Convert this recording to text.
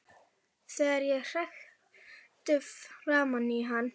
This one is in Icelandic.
Þegar ég hrækti framan í hann.